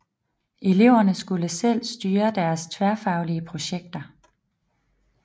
Eleverne skulle selv styre deres tværfaglige projekter